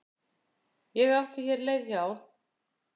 Ég átti hér leið hjá.